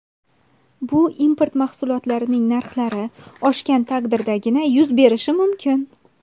Bu import mahsulotlarining narxlari oshgan taqdirdagina yuz berishi mumkin.